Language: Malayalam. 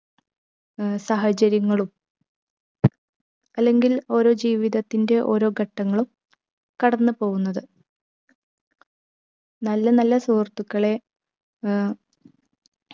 ഏർ സാഹചര്യങ്ങളും അല്ലെങ്കിൽ ഓരോ ജീവിതത്തിന്റെ ഓരോ ഘട്ടങ്ങളും കടന്നു പോകുന്നത് നല്ല നല്ല സുഹൃത്തുക്കളെ ഏർ